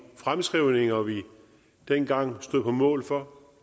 fremskrivninger vi dengang stod på mål for